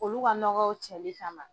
Olu ka nɔgɔw cɛli kama.